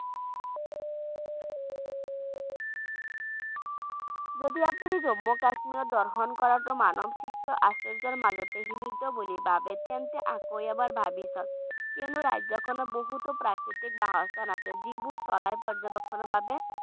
যদি আপুনি জম্মু কাশীৰ দৰ্শন কাৰোতে মানৱ সৃষ্ট আচৰ্য্যৰ মাজতেই সীমিত বুলি ভাবে তেন্তে আকৌ এবাৰ ভাৱি চাওক কিন্তু ৰাজ্যখনত বহুতো প্ৰাকৃতিক বাসস্থান আছে যিবোৰ চৰাই পৰ্য্যবেক্ষণৰ বাবে